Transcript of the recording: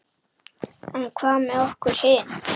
En hvað með okkur hin?